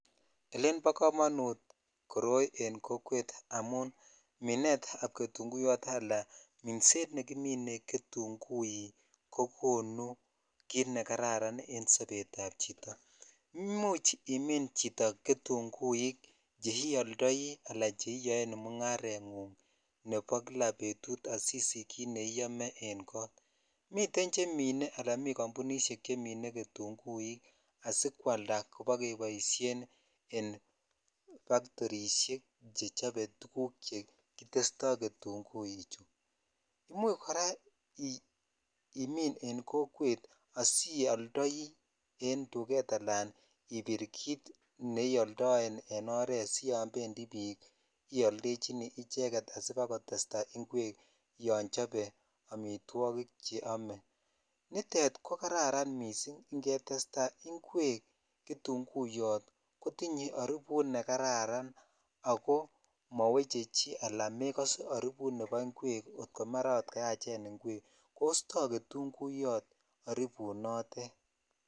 Elen bo komonut koroi en kokwet amun minet ab ketunguik ala minset nekimine ketunguik ko konu kit ne kararan en sobet ab chito imuch imin chito ketunguik che ioldoi ala che iyoen mungarengung nebo kila betut sisich kit neuyome en kot miten chemine ala miten jambunishek chemine ketunguik asikwalda asibakeboishen en baktirishek che chose tuguk che kitesto ketungui chuu imuch kora imin en kokwet asioldoi en duvet alan ibir kit neoldoen en oret asiyo bendi bik en oret iyoldechini sibakotesta ingwek yon chobe amitwokik che one nitet ko kararan missing Ingatestone ingwek ketunguyot kotinye aribut ne kararan ako mo moweche chii ala mekose aribut nebo ingwek kot komaraa kayachen ingwek kostoi ketunguyot are aribunotet